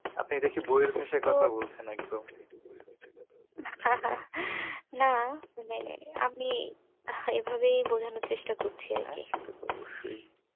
আপনি দেখছি বইয়ের ভাষায় কথা বলছেন একদম। আহ না মানে আমি এভাবেই বোঝানোর চেষ্টা করছি আরকি। হ্যাঁ সেটা তো অবশ্যই।